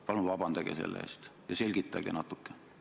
Paluge selle eest vabandust ja selgitage seda natuke!